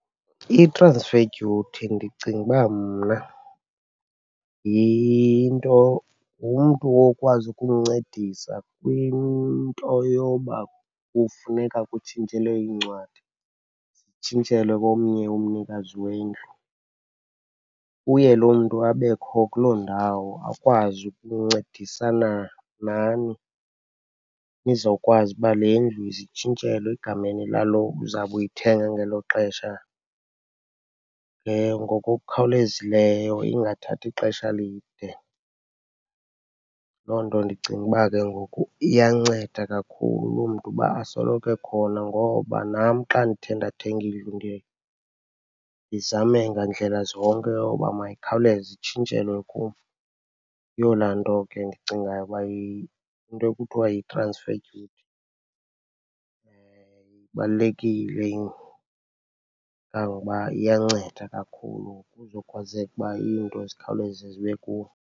I-transfer duty ndicinga uba mna yinto, ngumntu okwazi ukumncedisa kwinto yoba kufuneka kutshintshelwe iincwadi, zitshintshelwe komnye umnikazi wendlu. Uye loo mntu abekho kuloo ndawo, akwazi ukuncedisana nani nizawukwazi uba le ndlu ize itshintshelwe egameni lalo uzawube uyithenga ngelo xesha ngokukhawulezileyo, ingathathi ixesha elide. Loo nto ndicinga ukuba ke ngoku iyanceda kakhulu loo mntu uba asoloko ekhona ngoba nam xa ndithe ndathenga indlu, ndiye ndizame ngandlela zonke yoba mayikhawuleze itshintshwele kum. Yeyona into ke endicingayo uba into ekuthiwa yi-transfer duty. Ibalulekile, kangokuba iyanceda kakhulu kuzokwazeka uba iinto zikhawuleze zibe kuwe.